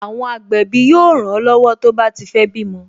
Àwọn agbẹ̀bí yóò ran lọ́wọ́ tó bá ti fé bímọ